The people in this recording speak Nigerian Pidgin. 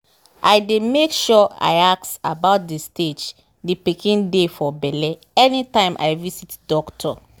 i dey make sure i ask about the stage the pikin dey for belle anytime i visit doctor.